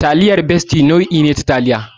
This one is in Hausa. Taliyar Bestie nau'i ce ta taliya.